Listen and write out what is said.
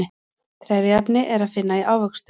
trefjaefni er að finna í ávöxtum